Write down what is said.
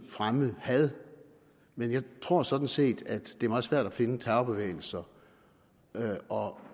fremme had men jeg tror sådan set at det er meget svært at finde terrorbevægelser og